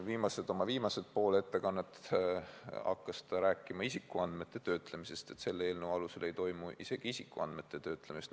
Oma ettekande viimases osas hakkas ta rääkima isikuandmete töötlemisest ja ütles, et selle eelnõu alusel ei toimu isegi isikuandmete töötlemist.